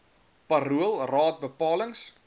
parool raad bepalings